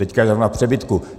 Teď je zrovna v přebytku.